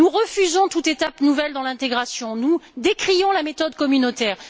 Nous refusons toute étape nouvelle dans l'intégration et nous décrions la méthode communautaire.